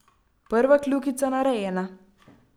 Prva kljukica narejena!